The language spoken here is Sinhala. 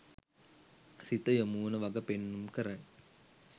සිත යොමුවන වග පෙන්නුම් කරයි.